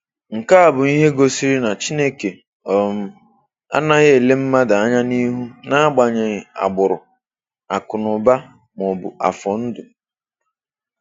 Nke a bụ ihe gosiri na Chineke um anaghị ele mmadụ anya n’ihu n’agbanyeghị agbụrụ, akụnụba, ma ọ bụ afọ ndụ.